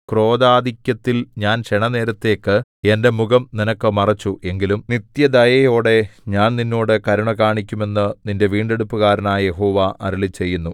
ക്രോധാധിക്യത്തിൽ ഞാൻ ക്ഷണനേരത്തേക്ക് എന്റെ മുഖം നിനക്ക് മറച്ചു എങ്കിലും നിത്യദയയോടെ ഞാൻ നിന്നോട് കരുണ കാണിക്കും എന്നു നിന്റെ വീണ്ടെടുപ്പുകാരനായ യഹോവ അരുളിച്ചെയ്യുന്നു